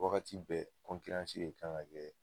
Wagati bɛ kan ka kɛ